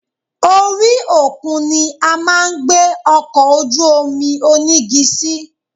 Orí òkun ni a máa gbé ọkọ̀ ojú-omi onígi sí